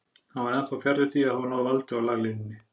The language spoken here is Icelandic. Hann var ennþá fjarri því að hafa náð valdi á laglínunni.